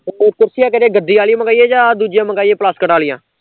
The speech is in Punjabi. ਤੇ ਕੁਰਸੀਆ ਕਿਹੜੀਆਂ ਗੱਦੇ ਆਲੀਆ ਮਗਾਈਏ ਜਾਂ ਦੂਜੀਆਂ ਮਗਾਈਏ ਪਲਾਸਕਟ ਆਲੀਆਂ